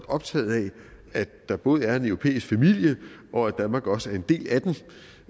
optaget af at der både er en europæisk familie og at danmark også er en del af